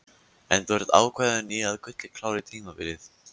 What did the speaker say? En þú ert ákveðinn í að Gulli klári tímabilið?